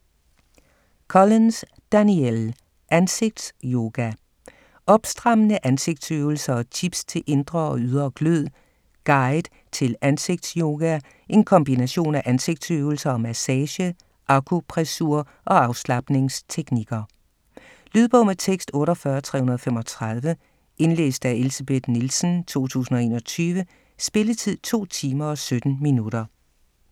Collins, Danielle: Ansigtsyoga: opstrammende ansigtsøvelser & tips til indre og ydre glød Guide til ansigtsyoga, en kombination af ansigtsøvelser og massage, akupressur og afslapningsteknikker. Lydbog med tekst 48335 Indlæst af Elsebeth Nielsen, 2021. Spilletid: 2 timer, 17 minutter.